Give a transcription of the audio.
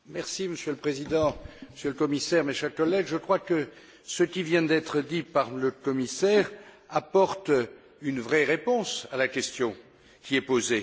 Monsieur le Président, Monsieur le Commissaire, chers collègues, je crois que ce qui vient d'être dit par le commissaire apporte une vraie réponse à la question qui est posée.